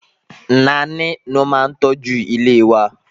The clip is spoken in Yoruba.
Naní ló ma ń tọ́jú ilé wa a.